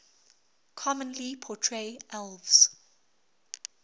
commonly portray elves